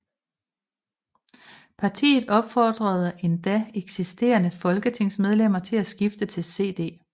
Partiet opfordrede endda eksisterende folketingsmedlemmer til at skifte til CD